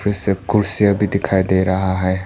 जिससे कुर्सियां भी दिखाई दे रहा है।